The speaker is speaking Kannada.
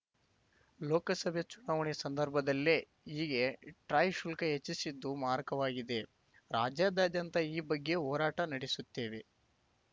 ಲೋಕಸಭೆ ಚುನಾವಣೆ ಸಂದರ್ಭದಲ್ಲೇ ಹೀಗೆ ಟ್ರಾಯ್‌ ಶುಲ್ಕ ಹೆಚ್ಚಿಸಿದ್ದು ಮಾರಕವಾಗಿದೆ ರಾಜ್ಯಾದಾದ್ಯಂತ ಈ ಬಗ್ಗೆ ಹೋರಾಟ ನಡೆಸುತ್ತೇವೆ